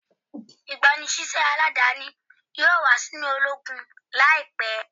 Igbanisiṣẹ aladani yoo wa sinu ologun laipẹ